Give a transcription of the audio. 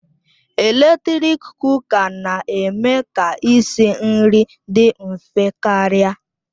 Eletrik Kụka na-eme ka isi nri dị mfe karịa